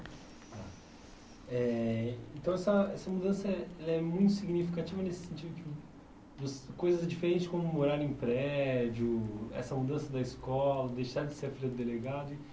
Eh então, essa essa mudança é é muito significativa nesse sentido de coisas diferentes, como morar em prédio, essa mudança da escola, deixar de ser a filha do delegado...